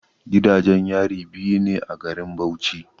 Gidajen yari biyu ne a garin Bauchi.